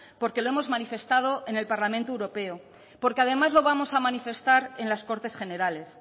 porque lo hemos manifestado en el parlamento europeo porque además lo vamos a manifestar en las cortes generales